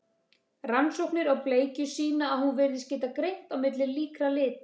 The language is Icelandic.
Rannsóknir á bleikju sýna að hún virðist geta greint á milli líkra lita.